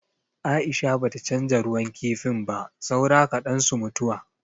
Aisha bata canza ruwan kifin ba, saura kaɗan su mutuwa.